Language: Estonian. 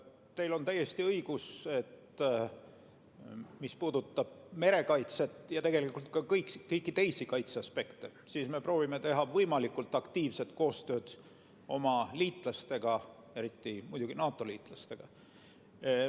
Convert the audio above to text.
Teil on täiesti õigus, et mis puudutab merekaitset ja tegelikult ka kõiki teisi kaitse aspekte, siis me proovime teha võimalikult aktiivset koostööd oma liitlastega, eriti muidugi NATO-liitlastega.